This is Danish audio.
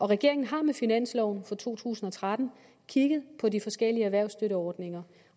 regeringen har med finansloven for to tusind og tretten kigget på de forskellige erhvervsstøtteordninger